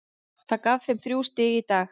Það gaf þeim þrjú stig í dag.